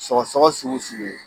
Sɔgɔsɔgɔ sugu sugu ye